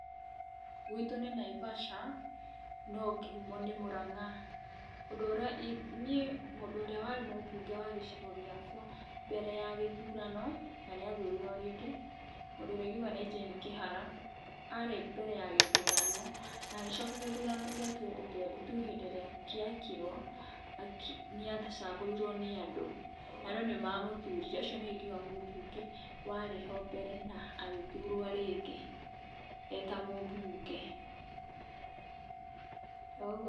Gwitũ nĩ Naivasha no kĩhũmo nĩ Mũranga, ũndũ ũrĩa niĩ mũndũ ũrĩa warĩ mũbunge wa gĩcigo gĩakwa mbere ya gĩthurano na athurirwo rĩngĩ mũndũ ũrĩa ingĩuga nĩ Jane Kĩhara arĩ mbere ya gĩthurano na agĩcoka gĩthurano kĩa twenty twenty two hĩndĩ ĩrĩa gĩekirwo nĩ acagũrirwo nĩ andũ andũ nĩ mamũthurire ũcio nĩwe ingĩuga mũbunge warĩ ho mbere na agĩthurwo rĩngĩ eta mũbunge oũguo.